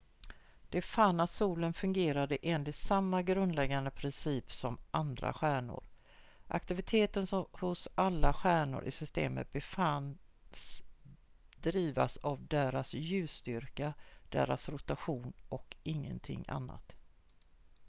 de fann att solen fungerade enligt samma grundläggande principer som andra stjärnor aktiviteten hos alla stjärnor i systemet befanns drivas av deras ljusstyrka deras rotation och ingenting annat